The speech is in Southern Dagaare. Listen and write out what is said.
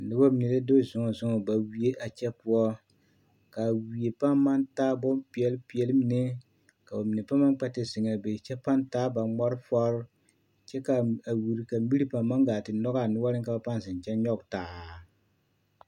Nobɔ mine la do zɔɔ zɔɔ ba wie a kyɛ poɔ kaa wie paaŋ maŋ taa bompeɛlpeɛl mine ka ba mine paŋ maŋ kpɛ te zeŋaa be kyɛ paaŋ maŋ taa ba ŋmɔrefɔrii kyɛ kaa wiri ka miri paŋ maŋ gaa te nyɔgaa noɔreŋ ka ba paaŋ zeŋ kyɛ nyɔge taa.